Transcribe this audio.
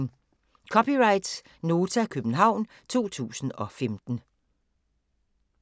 (c) Nota, København 2015